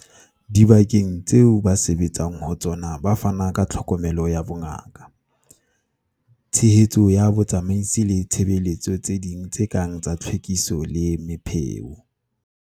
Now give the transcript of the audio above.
Dibakeng tseo ba sebetsang ho tsona ba fana ka tlhokomelo ya bongaka, tshehetso ya botsamaisi le ditshebeletso tse ding tse kang tsa tlhwekiso le mepheo.